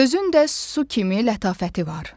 Sözün də su kimi lətafəti var.